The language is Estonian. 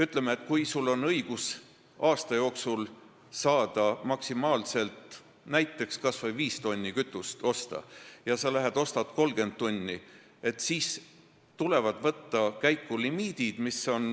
Ütleme, kui sul on õigus aasta jooksul saada maksimaalselt näiteks 5 tonni seda kütust, aga kui sa tahad osta 30 tonni, siis tuleb limiit ette.